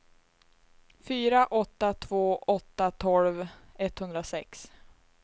fyra åtta två åtta tolv etthundrasex